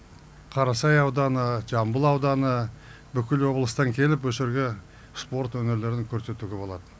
қарасай ауданы жамбыл ауданы бүкіл облыстан келіп осы жерге спорт өнерлерін көрсетуге болады